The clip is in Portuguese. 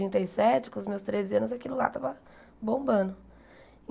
e sete, com os meus treze anos, aquilo lá estava bombando.